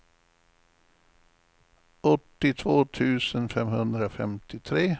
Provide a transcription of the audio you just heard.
åttiotvå tusen femhundrafemtiotre